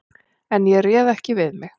En ég réð ekki við mig.